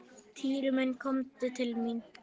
Týri minn komdu til mín.